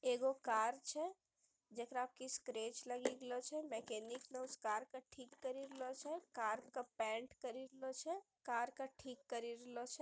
एगो कार छे जेकरा की स्क्रैच लगे लियो छे मेंकेनिक ने उस कार का ठीक कर लियो छे कार का पेंट करी लियो छे कार का ठीक करी लियो छे।